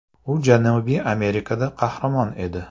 U Janubiy Amerikada qahramon edi.